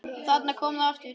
Og þarna kom það aftur!